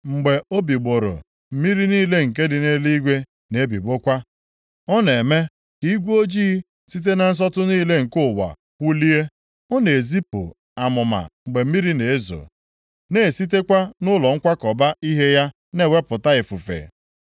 Mgbe o bigbọrọ, mmiri niile nke dị nʼeluigwe na-ebigbọkwa. Ọ na-eme ka igwe ojii site na nsọtụ niile nke ụwa kwụlie. Ọ na-ezipụ amụma mgbe mmiri na-ezo, na-esitekwa nʼụlọ nkwakọba ihe ya na-ewepụta ifufe.